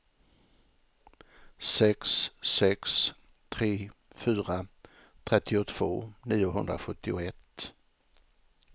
sex sex tre fyra trettiotvå niohundrasjuttioett